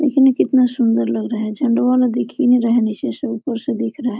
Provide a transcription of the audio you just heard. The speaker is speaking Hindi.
देखिए ना कितना सुन्दर लग रहा है झंडवा वाला देखिए नहीं रहा है निचे से ऊपर से ऊपर दिख रहा है।